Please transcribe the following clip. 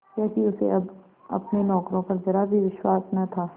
क्योंकि उसे अब अपने नौकरों पर जरा भी विश्वास न था